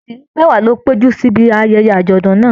Ìdílé mẹwa ló péjú sí ìbi ayẹyẹ ajọdun náà.